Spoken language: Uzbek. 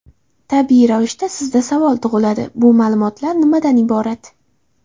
Tabiiy ravishda sizda savol tug‘iladi: bu ma’lumotlar nimadan iborat?